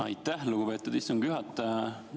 Aitäh, lugupeetud istungi juhataja!